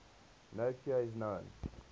no cure is known